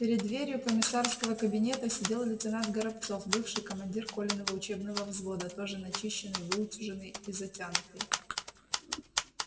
перед дверью комиссарского кабинета сидел лейтенант горобцов бывший командир колиного учебного взвода тоже начищенный выутюженный и затянутый